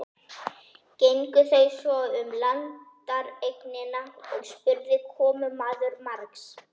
Gengu þau svo um landareignina og spurði komumaður margs.